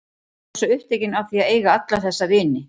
Ég varð svo upptekin af því að eiga alla þessa vini.